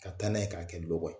Ka taa n'a ye k'a kɛ lokɔ ye.